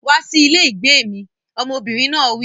Wá sí ilé ìgbé mi! Ọmọbìnrin náà wí.